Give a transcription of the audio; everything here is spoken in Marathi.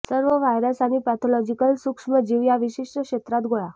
सर्व व्हायरस आणि पॅथॉलॉजीकल सूक्ष्मजीव या विशिष्ट क्षेत्रात गोळा